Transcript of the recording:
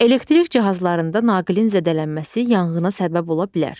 Elektrik cihazlarında naqilin zədələnməsi yanğına səbəb ola bilər.